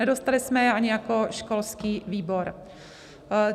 Nedostali jsme je ani jako školský výbor.